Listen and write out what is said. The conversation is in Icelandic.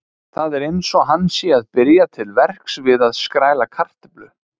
Það er eins og hann sé að byrja til verks við að skræla kartöflu.